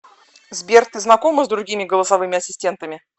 сбер ты знакома с другими голосовыми ассистентами